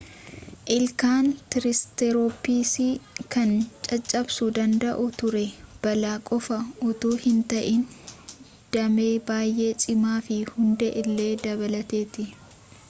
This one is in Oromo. ilkaan triseratopiis kan caccabsuu danda'u ture baala qofa utuu hin ta'in damee bayyee cimaa fi hundee illee dabalateeti